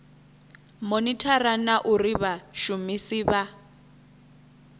monithara na uri vhashumisi vha